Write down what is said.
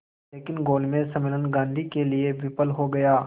लेकिन गोलमेज सम्मेलन गांधी के लिए विफल हो गया